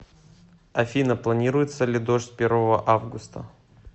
афина планируется ли дождь первого августа